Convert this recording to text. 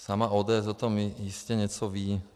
Sama ODS o tom jistě něco ví.